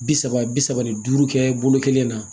Bi saba bi saba ni duuru kɛ bolo kelen na